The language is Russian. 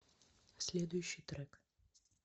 следующий трек